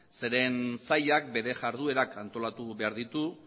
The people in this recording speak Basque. zeren saiak bere jarduerak antolatu behar ditu